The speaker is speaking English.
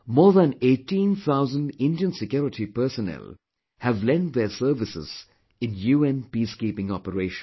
More than 18 thousand Indian security personnel have lent their services in UN Peacekeeping Operations